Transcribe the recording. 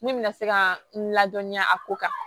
Min bɛna se ka n ladɔnniya a ko kan